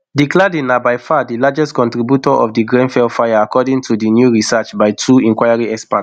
di cladding na by far di largest contributor to di grenfell fire according to new research by two inquiry experts